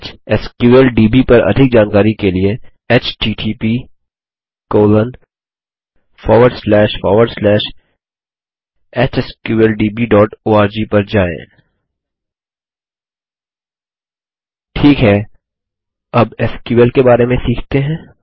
HSQLDB पर अधिक जानकारी के लिए इस पर जाएँ httphsqldborg ठीक है अब एसक्यूएल के बारे में सीखते हैं